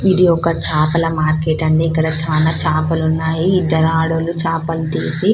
ఇది ఒక చేపల మార్కెట్ అండి ఇక్కడ చానా చేపలు ఉన్నాయి ఇద్దరు ఆడాళ్లు చేపలు దూసి --